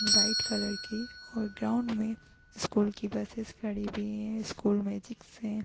White colour की और ground में स्कूल की बसेस खड़ी हुई हैं स्कूल मैजिक्स हैं ।